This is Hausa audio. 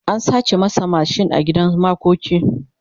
an sace masa mashin a gidan makoki